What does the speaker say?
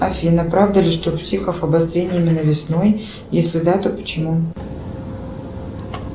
афина правда ли что у психов обострение именно весной если да то почему